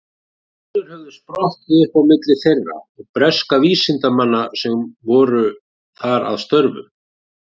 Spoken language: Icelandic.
Deilur höfðu sprottið upp á milli þeirra og breskra vísindamanna sem voru þar að störfum.